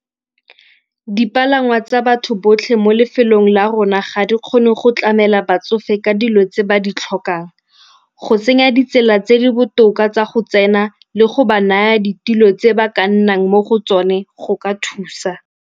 Dipalangwa tsa batho botlhe mo lefelong la rona ga di kgone go tlamela batsofe ka dilo tse ba di tlhokang. Go tsenya ditsela tse di botoka tsa go tsena le go ba naya ditilo tse ba ka nnang mo go tsone go ka thusa.